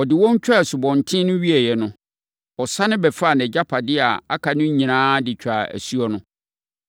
Ɔde wɔn twaa asubɔnten no wieeɛ no, ɔsane bɛfaa nʼagyapadeɛ a aka nyinaa de twaa asuo no.